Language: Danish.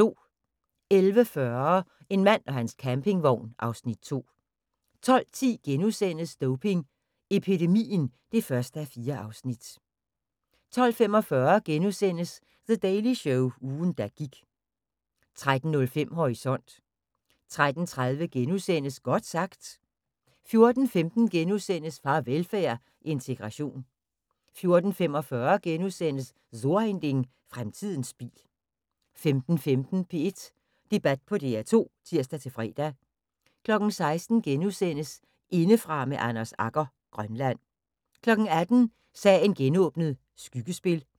11:40: En mand og hans campingvogn (Afs. 2) 12:10: Doping epidemien (1:4)* 12:45: The Daily Show – ugen der gik * 13:05: Horisont 13:30: Godt sagt * 14:15: Farvelfærd: Integration * 14:45: So ein Ding: Fremtiden bil * 15:15: P1 Debat på DR2 (tir-fre) 16:00: Indefra med Anders Agger – Grønland * 18:00: Sagen genåbnet: Skyggespil